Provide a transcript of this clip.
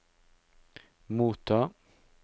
motta